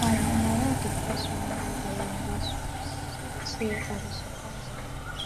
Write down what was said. time na my wife dey first remember our anniversary so dis year i go surprise am